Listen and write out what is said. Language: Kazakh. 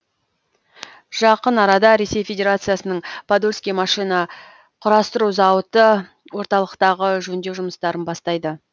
жақын арада ресей федерациясының подольский машина құрастыру зауыты орталықтағы жөндеу жұмыстарын бастайды